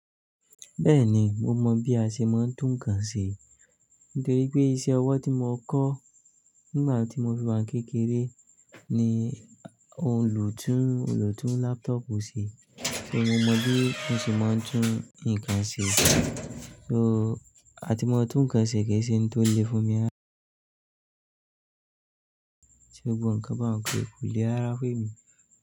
Bẹ́ẹ̀ni, mo mọ̀ bí a ṣe máa ń tún ǹkan ṣe, nítorí pé isẹ́ ọwọ́ tí mo kọ́ nígbà tí mo fi máa kékeré ni òòlù tún òòlù tún laptop ṣe. So mo mọ bí ó ṣe máa ń tún ǹkan ṣe. So àti mo tún ǹkan ṣe géṣẹ̀ ni tó le fún mi há. Ṣé gbogbo ǹkan bá ń, kò lè rara fún emi?